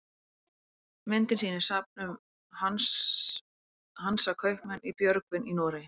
myndin sýnir safn um hansakaupmenn í björgvin í noregi